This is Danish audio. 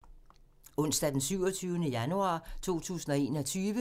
Onsdag d. 27. januar 2021